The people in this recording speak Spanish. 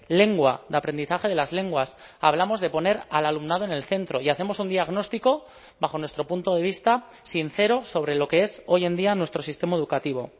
lengua de aprendizaje de las lenguas hablamos de poner al alumnado en el centro y hacemos un diagnóstico bajo nuestro punto de vista sincero sobre lo que es hoy en día nuestro sistema educativo